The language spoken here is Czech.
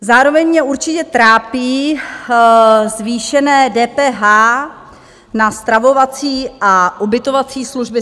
Zároveň mě určitě trápí zvýšené DPH na stravovací a ubytovací služby.